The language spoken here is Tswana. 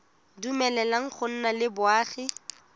dumeleleng go nna le boagi